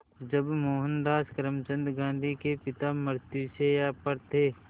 जब मोहनदास करमचंद गांधी के पिता मृत्युशैया पर थे